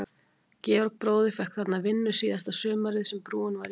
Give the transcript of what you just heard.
Georg bróðir fékk þarna vinnu síðasta sumarið sem brúin var í smíðum.